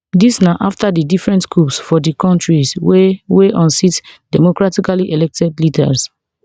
dis na after di different coups for di countries wey wey unseat democratically elected leaders